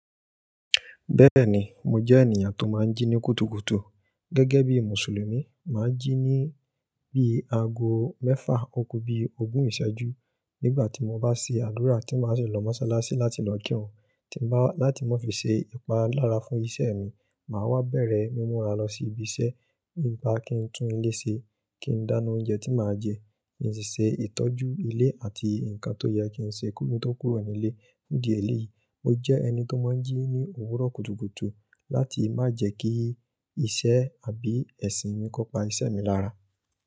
Bẹ́ẹ̀ni, mo jẹ́ ènìyàn tó máa ń jí ní kùtùkùtù. Gẹ́gẹ́ bí Mùsùlùmí, màá jí ní bí i ago mẹ́fà, òkú bí i ogún ìṣẹ́jú nígbà tí mo bá ṣe àdúrà tí màá sì lọ mọ́ṣáláṣí láti lọ kírun. Láti má fi ṣe ìpalára fún iṣẹ́ mi, màá wá bẹ̀rẹ̀ mímúra lọ sí ibi iṣẹ́, nígbà kí n tún ilé ṣe, kí n dáná oúnjẹ tí màá jẹ, kí n ṣe ìtọ́jú ilé àti nǹkan tó yẹ kí n ṣe kí n tó kúrò nílé. Ní díẹ̀ elé yìí, mo jẹ́ ẹni tó máa ń jí ní òwúrọ̀ kùtùkùtù láti má jẹ́ kí iṣẹ́ àbí ẹ̀sìn mi kó pa iṣẹ́ mi lára.